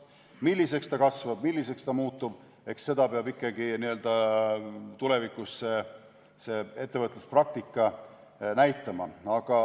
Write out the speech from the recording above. Milliseks ta kasvab, milliseks ta muutub, eks seda peab ikkagi tulevikus ettevõtluspraktika näitama.